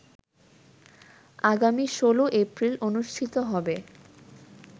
আগামী ১৬ এপ্রিল অনুষ্ঠিত হবে